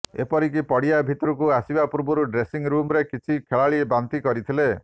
ଏପରିକି ପଡ଼ିଆ ଭିତରକୁ ଆସିବା ପୂର୍ବରୁ ଡ୍ରେସିଂ ରୁମ୍ରେ କିଛି ଖେଳାଳି ବାନ୍ତି କରିଥିଲେ